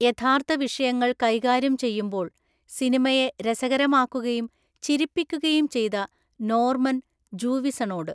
യഥാർത്ഥ വിഷയങ്ങൾ കൈകാര്യം ചെയ്യുമ്പോൾ സിനിമയെ രസകരമാക്കുകയും ചിരിപ്പിക്കുകയും ചെയ്ത നോർമൻ ജൂവിസണോട്.